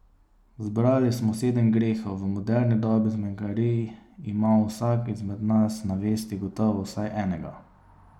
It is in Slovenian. Zbrali smo sedem grehov, v moderni dobi zmenkarij ima vsak izmed nas na vesti gotovo vsaj enega.